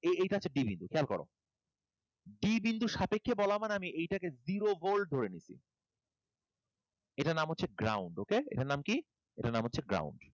এই কাছে d বিন্দু, খেয়াল করো। D বিন্দুর সাপেক্ষে বলা মানে আমি এইটাকে zero volt ধরে নিচ্ছি, এটার নাম হচ্ছে zero volt? এটার নাম কী? এটার নাম হচ্ছে ground.